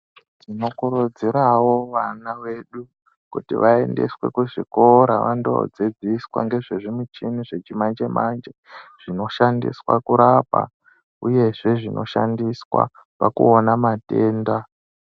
Tinokurudzirawo vana vedu kuti vaendeswe kuzvikora vandodzidziswa ngezvezvimichini zvechimanje-manje zvinoshandiswa kurapa, uyezve zvinoshandiswa pakuona matenda.